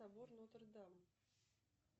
собор нотр дам